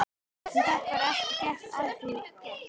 Hann gat bara ekkert að því gert.